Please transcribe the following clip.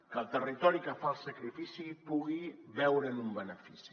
que el territori que fa el sacrifici pugui veure’n un benefici